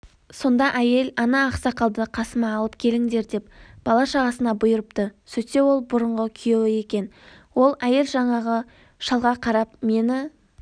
сонда әйел ана ақсақалды қасыма алып келіңдер деп бала-шағасына бұйырыпты сөйтсе ол бұрынғы күйеуі екен ол әйел жаңағы шалға қарап мені